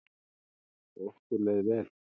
Okkur leið vel.